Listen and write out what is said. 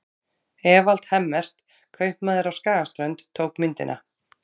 Evald Hemmert, kaupmaður á Skagaströnd, tók myndina.